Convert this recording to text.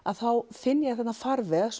finn ég þarna farveg